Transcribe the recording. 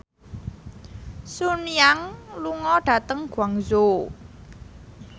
Sun Yang lunga dhateng Guangzhou